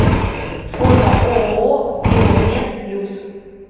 фото ооо биомед плюс